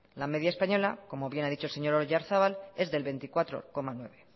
la media española como bien ha dicho el señor oyarzabal es del veinticuatro coma nueve